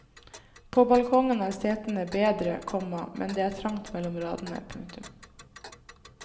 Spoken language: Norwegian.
På balkongen er setene bedre, komma men det er trangt mellom radene. punktum